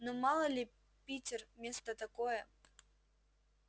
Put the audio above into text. ну мало ли питер место такое